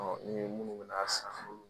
ni munnu mɛn'a san